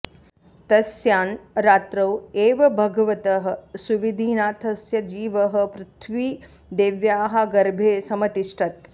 तस्यां रात्रौ एव भगवतः सुविधिनाथस्य जीवः पृथ्वीदेव्याः गर्भे समतिष्ठत्